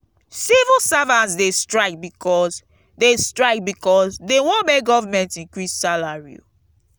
civil servants dey strike because dey strike because dey wan make government increase salary.